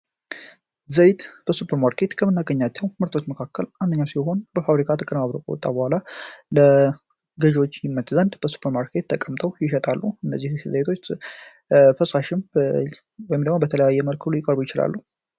ዘይት በሱፐርማርኬቶች ከመናገኛቸው ምርቶች መካከል አንደኛው ሲሆን በፋብሪካ ተቀንባብሮ ከወጣ በኋላ ለገዥዎች ይወጣል በሱፐርማርኬቶች ተቀምጦ ይሸጣል። ይህ ፈሳሽም ወይም ደግሞ በተለያዩ አይነቶችም ሊቀርብ ይችላል።